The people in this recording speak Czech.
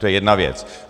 To je jedna věc.